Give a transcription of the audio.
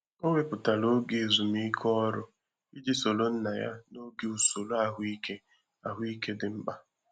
O wepụtara oge ezumike ọrụ iji soro nna ya n'oge usoro ahụike ahụike dị mkpa.